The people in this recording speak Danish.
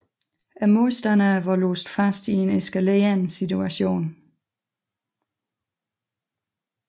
Modstanderne var låst fast i en eskalerende situation